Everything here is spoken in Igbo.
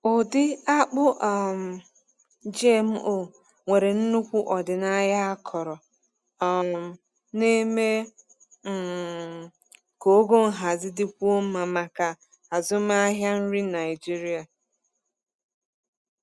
Ụdị akpụ um GMO nwere nnukwu ọdịnaya akọrọ um na-eme um ka ogo nhazi dịkwuo mma maka azụmahịa nri Naijiria.